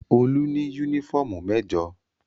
Olú ní únífọ́ọ́mù mẹ́jọ.